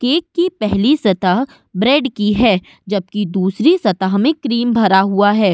Cake की पहली सतह ब्रेड की है। जबकि दूसरी सतह में क्रीम भरा हुआ है।